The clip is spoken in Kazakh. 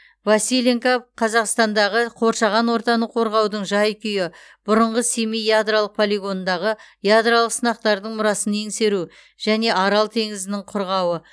василенко қазақстандағы қоршаған ортаны қорғаудың жай күйі бұрынғы семей ядролық полигонындағы ядролық сынақтардың мұрасын еңсеру және арал теңізінің құрғауы